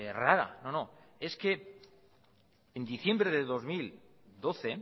rara no no es que en diciembre de dos mil doce